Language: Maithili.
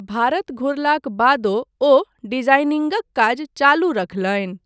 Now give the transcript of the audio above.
भारत घुरलाक बादो ओ डिजाइनिंगक काज चालू रखलनि।